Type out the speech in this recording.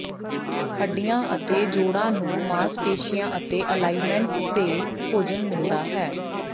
ਹੱਡੀਆਂ ਅਤੇ ਜੋੜਾਂ ਨੂੰ ਮਾਸਪੇਸ਼ੀਆਂ ਅਤੇ ਅਲਾਇਮੈਂਟਸ ਤੇ ਭੋਜਨ ਮਿਲਦਾ ਹੈ